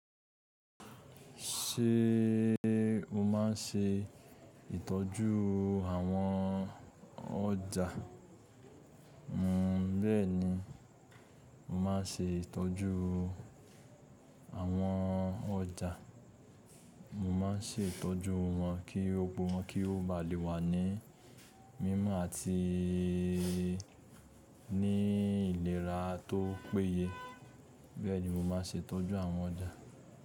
Ṣé mo má ń ṣe ìtọ́jú àwọn ọjà? N bẹẹni, mo má n ṣe ìtọ́jú àwọn ọjà. Mo ma n ṣe ìtọ́jú wọn kí gbogbo wọn kí o ba lè wà ní mímọ́ àti ní ìlera tó péye. Bẹẹni, mo ma n ṣe ìtọ́jú àwọn ọjà.